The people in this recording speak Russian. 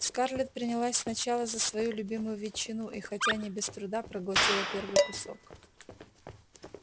скарлетт принялась сначала за свою любимую ветчину и хотя и не без труда проглотила первый кусок